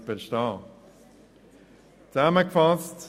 Ich fasse zusammen: